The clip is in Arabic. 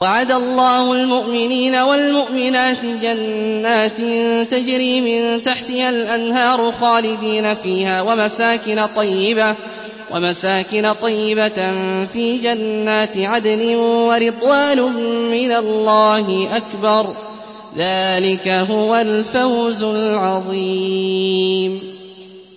وَعَدَ اللَّهُ الْمُؤْمِنِينَ وَالْمُؤْمِنَاتِ جَنَّاتٍ تَجْرِي مِن تَحْتِهَا الْأَنْهَارُ خَالِدِينَ فِيهَا وَمَسَاكِنَ طَيِّبَةً فِي جَنَّاتِ عَدْنٍ ۚ وَرِضْوَانٌ مِّنَ اللَّهِ أَكْبَرُ ۚ ذَٰلِكَ هُوَ الْفَوْزُ الْعَظِيمُ